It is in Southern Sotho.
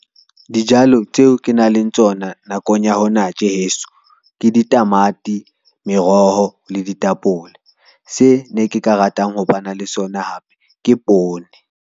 Dijalo tseo ke nang le tsona nakong ya hona tje heso ke di tamati, meroho le ditapole. Se ne ke ka ratang ho ba na le sona hape ke poone.